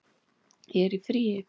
Ég er í fríi